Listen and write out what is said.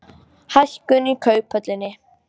Hækkun í Kauphöllinni